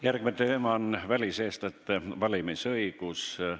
Järgmine teema on väliseestlaste valimisõigus.